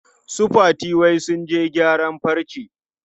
Su Fati wai sun je gyaran farce.